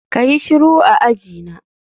kayi shiru a ajina